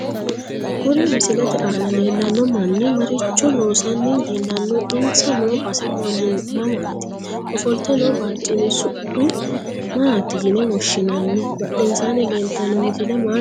Kuri misilete aana leelano manni maricho loosani leelanno insa noo base mamaati ofolte noo barcimi su'ma maati yine woshinanni badhesaani leeltanno misile maa xawisanno